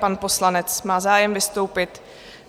Pan poslanec má zájem vystoupit.